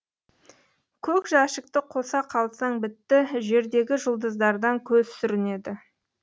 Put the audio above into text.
көк жәшікті қоса қалсаң бітті жердегі жұлдыздардан көз сүрінеді